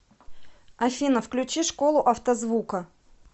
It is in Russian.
афина включи школу автозвука